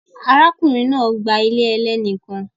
Arákùnrin náà gba ilé ẹlẹ́ni kan